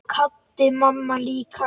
Svo kvaddi mamma líka.